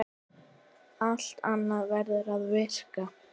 Allt annað verður að víkja.